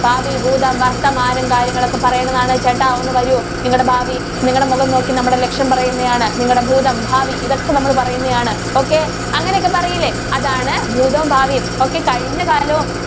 ഭാവി, ഭൂതം, വര്‍ത്തമാനം കാര്യങ്ങളൊക്കെ പറയുന്നതാണ്. ചേട്ടാ, ഒന്ന് വരൂ. നിങ്ങടെ ഭാവി നിങ്ങടെ മുഖം നോക്കി നമ്മള് ലക്ഷണം പറയുന്ന ആണ്. നിങ്ങടെ ഭൂതം, ഭാവി ഇതൊക്കെ നമ്മള് പറയുന്നയാണ്‌. okay. അങ്ങനെയൊക്കെ പറയില്ലേ. അതാണ്‌ ഭൂതവും, ഭാവിയും. okay കഴിഞ്ഞ കാലവും